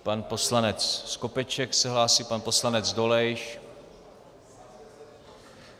Pan poslanec Skopeček se hlásí, pan poslanec Dolejš.